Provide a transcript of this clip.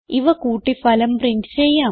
ഇവ കൂട്ടി ഫലം പ്രിന്റ് ചെയ്യാം